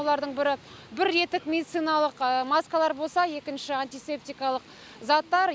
олардың бірі бір реттік медициналық маскалар болса екінші антисептикалық заттар